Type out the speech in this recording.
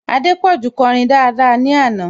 Adépọ̀jù kọrin daada ní àná